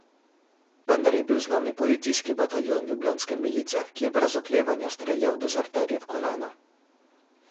Vendar je bil za nami policijski bataljon ljubljanske milice, ki je brez oklevanja streljal dezerterje v kolena.